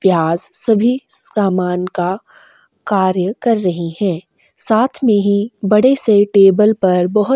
class सभी सामान का कार्य कर रही है साथ में ही बड़े से टेबल पर बहोत सा--